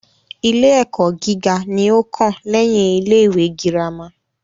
Ilé ẹ́kọ́ gíga ní o kàn lẹ́yin ilé ìwé gírámà.